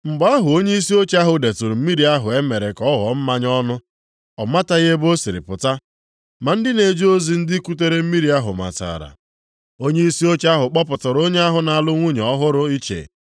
Mgbe ahụ onyeisi oche ahụ detụrụ mmiri ahụ e mere ka ọ ghọọ mmanya ọnụ. Ọ mataghị ebe o siri pụta (ma ndị na-eje ozi, ndị kutere mmiri ahụ matara), onyeisi oche ahụ kpọpụtara onye ahụ na-alụ nwunye ọhụrụ iche